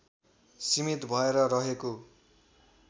सीमित भएर रहेको